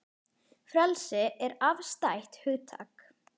Frelsi er afstætt hugtak